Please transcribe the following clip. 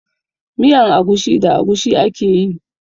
Miyan agushi da agushi ake yi.